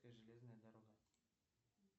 железная дорога